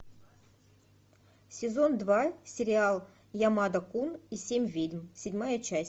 сезон два сериал ямада кун и семь ведьм седьмая часть